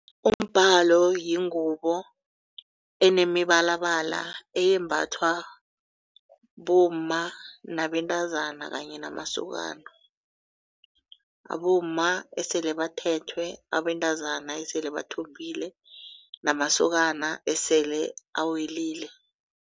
Umbhalo yingubo enemibalabala eyembathwa bomma nabentazana kanye namasokana. Abomma esele bathethwe, abentazana esele bathombile namasokana esele awelile.